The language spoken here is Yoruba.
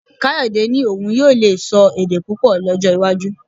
Káyọ̀dẹ́ ní òun yóò lè sọ èdè púpọ̀ lọ́jọ́ iwájú